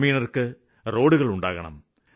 ഗ്രാമീണര്ക്ക് റോഡുകള് ഉണ്ടാക്കണം